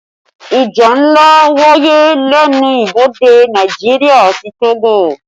Ìjà ńlá wáyé lẹ́nu ibodè Nàìjíríà àti Togo